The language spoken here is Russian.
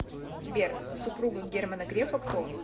сбер супруга германа грефа кто